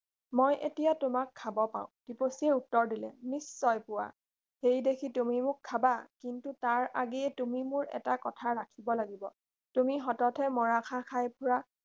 মই এতিয়া তোমাক খাব পাওঁ টিপচীয়ে উত্তৰ দিলে নিশ্চয় পোৱা সেই দেখি তুমি মোক খাবা কিন্তু তাৰ আগেয়ে তুমি মোৰ এটা কথা ৰাখিব লাগিব তুমি সততে মৰাশ খাই ফুৰা